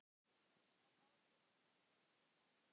Sá á að heita Agnes.